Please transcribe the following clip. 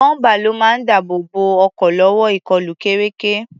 Bọ́ḿpà ló máa ń dáàbò bo ọkọ̀ lọ́wọ́ ìkọlù kéreké.